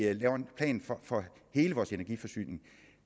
at vi laver en plan for hele vores energiforsyning